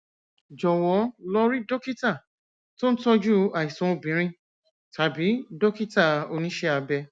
jọwọ lọ rí dókítà tó ń tọjú àìsàn obìnrin tàbí dókítà oníṣẹ abẹ